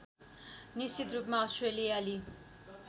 निश्चित रूपमा अस्ट्रेलियाली